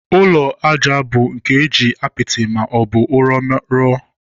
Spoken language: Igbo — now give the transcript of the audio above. Ụlọ ajá bụ nke eji apịtị ma ọ bụ ụrọ́ rụọ.